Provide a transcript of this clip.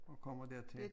Og kommer dertil